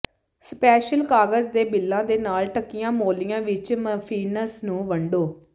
special ਕਾਗਜ਼ ਦੇ ਬਿੱਲਾਂ ਦੇ ਨਾਲ ਢੱਕੀਆਂ ਮੋਲੀਆਂ ਵਿੱਚ ਮਫ਼ਿਨਸ ਨੂੰ ਵੰਡੋ